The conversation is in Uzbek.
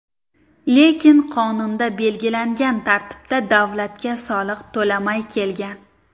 Lekin qonunda belgilangan tartibda davlatga soliq to‘lamay kelgan.